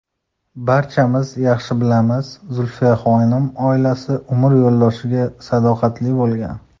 Barchamiz yaxshi bilamiz, Zulfiyaxonim oilasi, umr yo‘ldoshiga sadoqatli bo‘lgan.